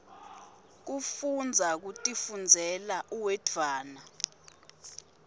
kufundza kutifundzela uwedwana